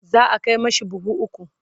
za'a Kai mashi buhu ukwu